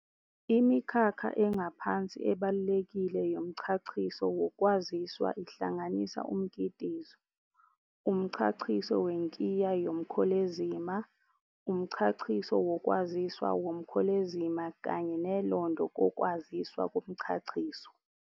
Imikhakha engaphansi ebalulekile yomchachiso wokwaziswa ihlanganisa umkitizo, umchachiso wenkiya yomkholezima, umchachiso wokwaziswa womkholezima kanye nelondo kokwaziswa komchachiso.